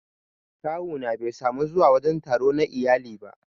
Kawu na Bai samu zuwa wajen taro na iyali ba